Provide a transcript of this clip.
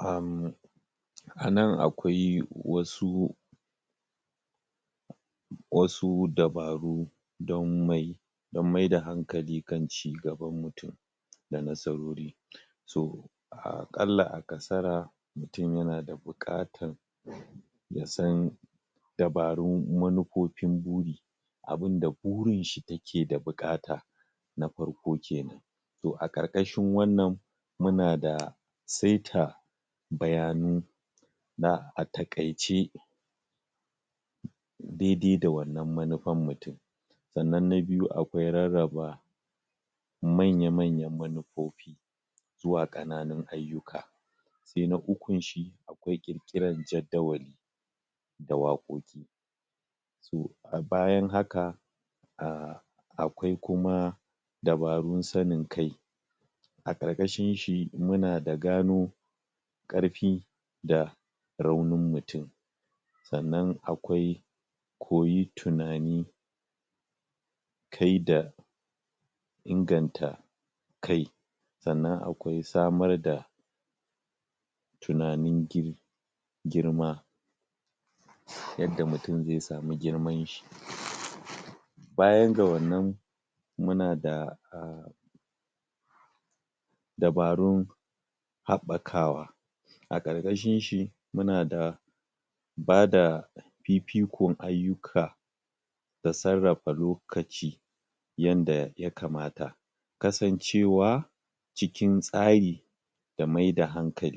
aaammm Anan akwai wasu wasu dabaru dan mai dan maida hankali dan cigaban mutum da nasarori so a kalla a kasara mutum yana da bukatan ya san dabarun manufofin buri abun da burinshi take da bukata na farko kenan to a karkashin wannan muna da saita bayanu na atakaice dai-dai-dai wannan manufan mutum sannan na biyu akwai rarraba manya-manyan manufofi zuwa kananin ayyuka sai na ukun shi akwai kirkiran jaddawali da wakoki so a bayan haka aaa akwai kuma dabarun sanin kai a karkashin shi muna da gano karfi da raunin mutum sannan akwai koyi tunani kai da inganta kai sannan akwai samar da tunanin dai girma yadda mutum zai sami girman shi bayan ga wannan muna da aa dabarun habakawa a karkshinshi muna da ba da fifikon ayyuka da sarrafa lokaci yanda ya kamata kasancewa cikin tsari da mai da haka